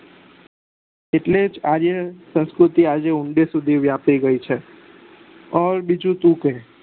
એટલે આજે સાસ્કૃતિ આજે ઉડે સુધી વાપરી ગયી છે અને બીજું તું જ કે